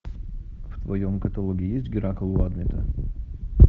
в твоем каталоге есть геракл у адмета